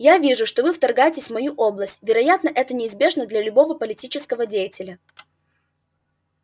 я вижу что вы вторгаетесь в мою область вероятно это неизбежно для любого политического деятеля